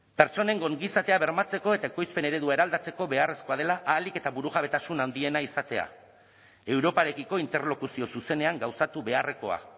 pertsonen ongizatea bermatzeko eta ekoizpen eredua eraldatzeko beharrezkoa dela ahalik eta burujabetasun handiena izatea europarekiko interlokuzio zuzenean gauzatu beharrekoa